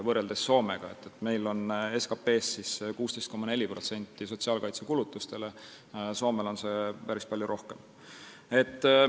Meil läheb sotsiaalkaitsekulutustele 16,4% SKT-st, Soomes on see protsent päris palju suurem.